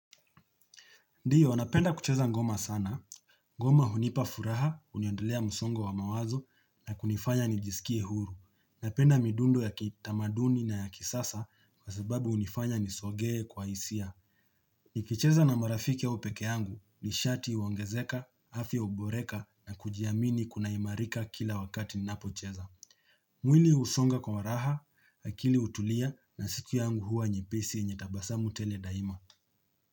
Ndiyo, napenda kucheza ngoma sana. Ngoma hunipa furaha, uniondelea msongo wa mawazo na kunifanya nijisikie huru. Napenda midundo ya kitamaduni na ya kisasa kwa sababu unifanya nisogee kwa isia. Nikicheza na marafiki au peke yangu, nishati uongezeka, hafi uboreka na kujiamini kunaimarika kila wakati ninapocheza. Mwili husonga kwa raha, akili utulia na siku yangu huwa nyepesi yenye tabasamu tele daima.